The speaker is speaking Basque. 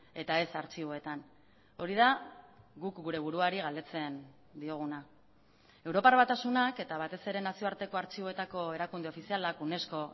eta ez artxiboetan hori da guk gure buruari galdetzen dioguna europar batasunak eta batez ere nazioarteko artxiboetako erakunde ofizialak unesco